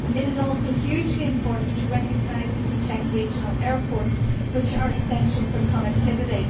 It is also hugely important to recognise and protect regional airports, which are central for connectivity.